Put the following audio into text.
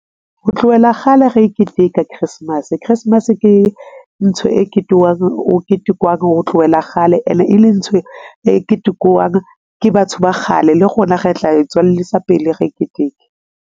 Ho tlohela kgale re e keteka Christmas, Christmas ke ntho e , o ketekwang ho tlowela kgale ene e le ntho e ketekwang ke batho ba kgale. Le rona re tla e tswellisa pele re e keteke.